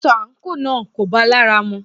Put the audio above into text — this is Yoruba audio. Aṣọ àńkò náà kò bá lára mu